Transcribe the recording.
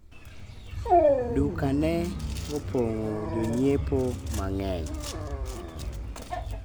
duka lake linajaa wateja wengi